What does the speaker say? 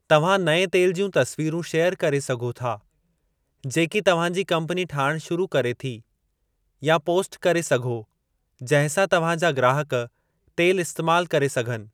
तव्हां नएं तेल जूं तसवीरूं शेयर करे सघो था जेकी तव्हां जी कम्पनी ठाहिणु शुरू करे थी, या पोस्ट करे सघे जंहिंसां तव्हां जा ग्राहकु तेलु इस्तेमाल करे सघनि।